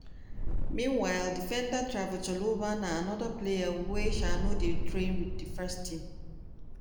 meanwhile defender trevoh chalobah na anoda player wey um no dey train wit di first team.